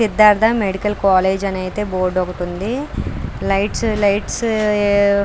Siddhartha medical college అని అయితే board ఒకటి ఉంది. Lights lights --